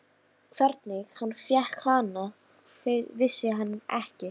Hvernig hann fékk hana, vissi hann ekki.